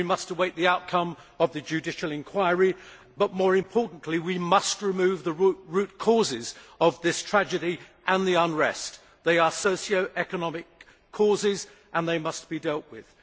We must await the outcome of the judicial inquiry but, more importantly, we must remove the root causes of this tragedy and the unrest. They are socio economic causes and they must be dealt with.